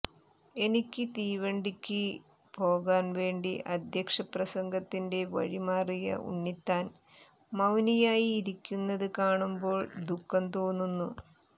എനിക്ക് തീവണ്ടിക്ക് പോകാൻ വേണ്ടി അധ്യക്ഷപ്രസംഗത്തിന്റെ വഴി മാറിയ ഉണ്ണിത്താൻ മൌനിയായി ഇരിക്കുന്നത് കാണുമ്പോൾ ദുഃഖം തോന്നുന്നു